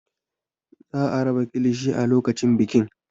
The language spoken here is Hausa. Za a raba kilishi a lokacin bikin.